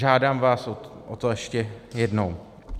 Žádám vás o to ještě jednou.